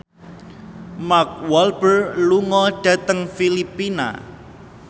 Mark Walberg lunga dhateng Filipina